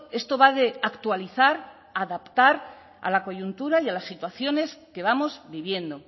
esto va de actualizar adaptar a la coyuntura y a las situaciones que vamos viviendo